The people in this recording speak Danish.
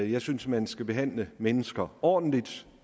jeg synes at man skal behandle mennesker ordentligt